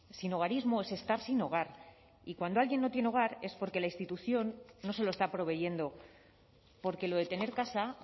sinhogarismo es estar sin hogar y cuando alguien no tiene hogar es porque la institución no se lo está proveyendo porque lo de tener casa